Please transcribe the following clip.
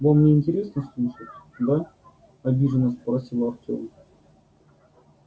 вам не интересно слушать да обиженно спросил артём